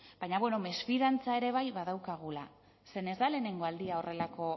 baina bueno mesfidantza ere bai badaukagula zeren ez da lehenengo aldia horrelako